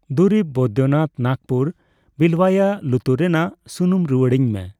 ᱫᱩᱨᱤᱵᱽ ᱵᱚᱭᱫᱚᱱᱟᱛᱷ ᱱᱟᱜᱯᱩᱨ ᱵᱤᱞᱣᱭᱟ ᱞᱩᱛᱩᱨ ᱨᱮᱱᱟᱜ ᱥᱩᱱᱩᱢ ᱨᱩᱣᱟᱲᱟᱹᱧ ᱢᱮ ᱾